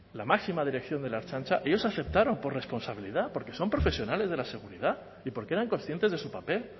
la máxima dirección de la ertzaintza ellos aceptaron por responsabilidad porque son profesionales de la seguridad y porque eran conscientes de su papel